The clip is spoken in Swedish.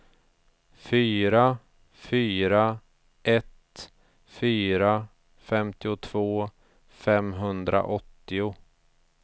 fyra fyra ett fyra femtiotvå femhundraåttio